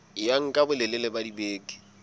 ya nka bolelele ba dibeke